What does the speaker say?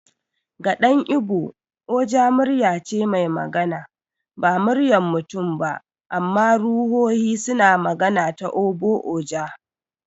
Ga dan Igbo, Oja muryar ce mai magana. Ba muryar mutum ba, amma ruhohi suna magana ta Ogbu-oja.